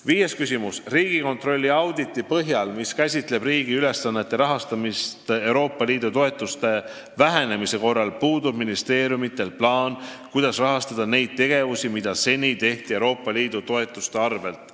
Viies küsimus: "Riigikontrolli auditi põhjal, mis käsitleb riigi ülesannete rahastamist Euroopa Liidu toetuste vähenemise korral, puudub ministeeriumitel plaan, kuidas rahastada neid tegevusi, mida seni tehti EL-i toetuste arvelt.